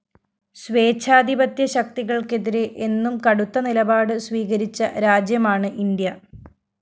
സ്വേച്ഛാധിപത്യശക്തികള്‍ക്കെതിരെ എന്നും കടുത്ത നിലപാട് സ്വീകരിച്ച രാജ്യമാണ് ഇന്ത്യ